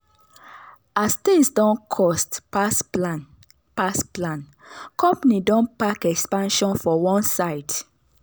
as things don cost pass plan pass plan company don park expansion for one side.